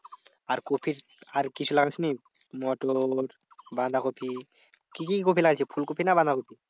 আর কপি আর কিছু লাগাসনি? মোটর, বাঁধাকপি। কি কি কপি লাগিয়েছিস? ফুলকপি না বাঁধাকপি?